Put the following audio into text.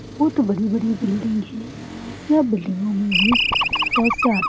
बोहोत बड़ी-बड़ी बिल्डिंग है यह बिल्डिंगो में भी बोहोत से आदमी--